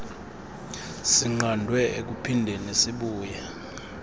sinqandwe ekuphindeni sibuye